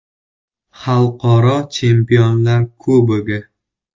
Xalqaro Chempionlar Kubogi.